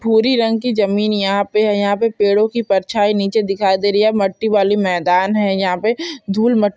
भूरी रंग की जमीन यहाँ पे है यहाँ पे पेड़ों की परछाई नीचे दिखाई दे रही है मट्टी वाली मैदान है यहाँ पे धूल मट्टी---